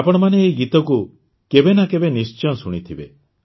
ଆପଣମାନେ ଏହି ଗୀତକୁ କେବେ ନା କେବେ ନିଶ୍ଚୟ ଶୁଣିଥିବେ